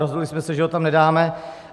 Rozhodli jsme se, že ho tam nedáme.